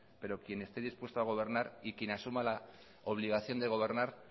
pero quien esté dispuesto a gobernar y quien asuma la obligación de gobernar